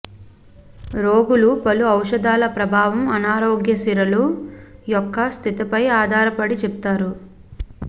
రోగులు పలు ఔషధాల ప్రభావం అనారోగ్య సిరలు యొక్క స్థితిపై ఆధారపడి చెప్తారు